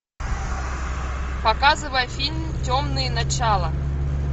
показывай фильм темные начала